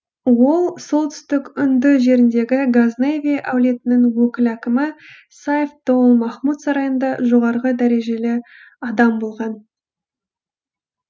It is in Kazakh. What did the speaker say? ол солтүстік үнді жеріндегі газневи әулетінің өкіл әкімі сайф доул махмұд сарайында жоғарғы дәрежелі адам болған